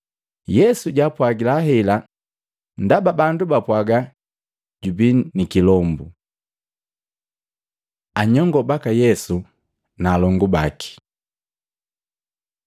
Yesu japwaaga hela ndaba bandu bapwaaga, “Jubii ni kilombu.” Anyongo baka Yesu na alongu baki Matei 12:46-50; Luka 8:19-21